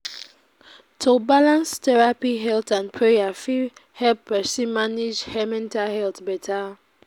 To balance therapy and prayer fit help pesin manage mental health beta.